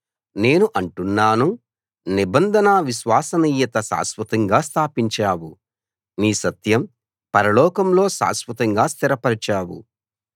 నేను అంటున్నాను నిబంధన విశ్వసనీయత శాశ్వతంగా స్థాపించావు నీ సత్యం పరలోకంలో శాశ్వతంగా స్థిరపరచావు